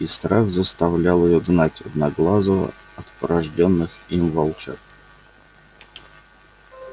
и страх заставлял её гнать одноглазого от порождённых им волчат